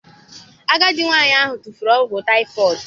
Agadi nwanyị ahụ tufuru ọgwụ typhoid